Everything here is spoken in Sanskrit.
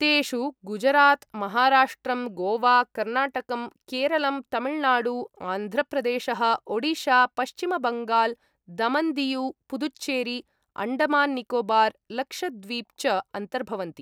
तेषु गुजरात्, महाराष्ट्रम्, गोवा, कर्नाटकम्, केरलम्, तमिळनाडु, आन्ध्रप्रदेशः, ओडिशा, पश्चिमबङगाल्, दमन्दीयु, पुदुच्चेरी, अण्डमान्निकोबार्, लक्षद्वीप् च अन्तर्भवन्ति।